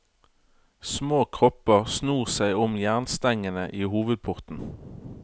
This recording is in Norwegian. Små kropper snor seg om jernstengene i hovedporten.